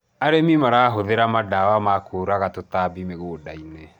arĩmi marahuthira mandaea ma kuuraga tũtambi muganda-inĩ